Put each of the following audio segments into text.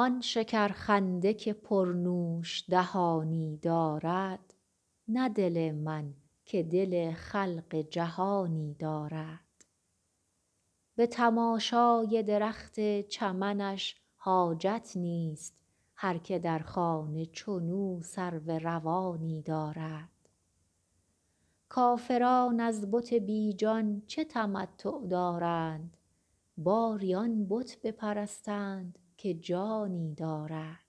آن شکرخنده که پرنوش دهانی دارد نه دل من که دل خلق جهانی دارد به تماشای درخت چمنش حاجت نیست هر که در خانه چنو سرو روانی دارد کافران از بت بی جان چه تمتع دارند باری آن بت بپرستند که جانی دارد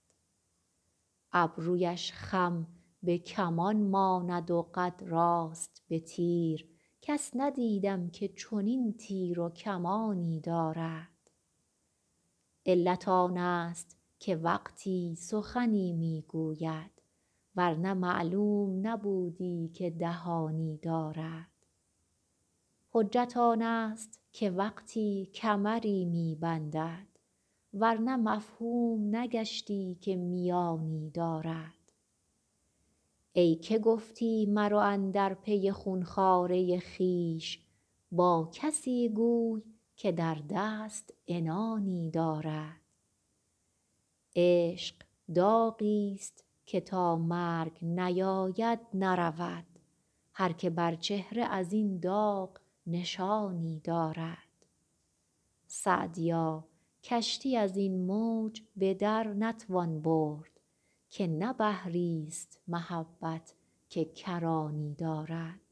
ابرویش خم به کمان ماند و قد راست به تیر کس ندیدم که چنین تیر و کمانی دارد علت آنست که وقتی سخنی می گوید ور نه معلوم نبودی که دهانی دارد حجت آنست که وقتی کمری می بندد ور نه مفهوم نگشتی که میانی دارد ای که گفتی مرو اندر پی خون خواره خویش با کسی گوی که در دست عنانی دارد عشق داغیست که تا مرگ نیاید نرود هر که بر چهره از این داغ نشانی دارد سعدیا کشتی از این موج به در نتوان برد که نه بحریست محبت که کرانی دارد